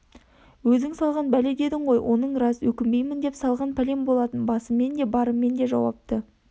өзің салған бәле дедің ғой оның рас өкінбеймін деп салған пәлем болатын басыммен де барыммен де жауапты